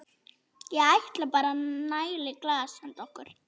Ég ætla bara að næla í glas handa okkur.